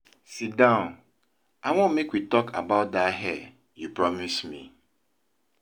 Sit down, I wan make we talk about dat hair you promise me.